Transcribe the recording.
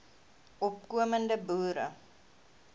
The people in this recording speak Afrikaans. opko mende boere